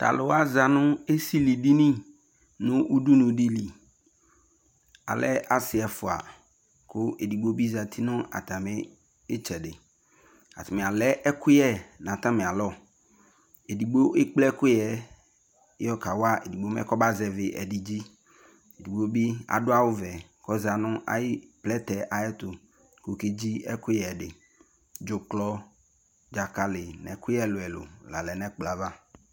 to alò wa za no esili dini no udunu di li alɛ asi ɛfua kò edigbo bi zati no atami itsɛdi atani alɛ ɛkò yɛ n'atami alɔ edigbo ekple ɛkò yɛ yɔ ka wa edigbo mɛ kɔ ba zɛvi ɛdi dzi edigbo bi adu awu vɛ k'ɔza no ayi plɛtɛ ayi ɛto k'ɔke dzi ɛkò yɛ di dzuklɔ dzakali no ɛkò yɛ ɛlò ɛlò la lɛ n'ɛkplɔ yɛ ava